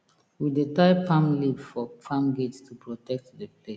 we dey tie palm leaf for farm gate to protect the place